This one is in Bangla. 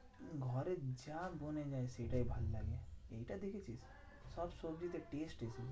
ঘরে যা দেয় সেটাই ভালো লাগে। এই টা দেখেছিস? সব সবজি তে taste এসে যায়।